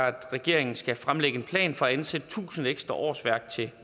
at regeringen skal fremlægge en plan for at ansætte tusind ekstra årsværk til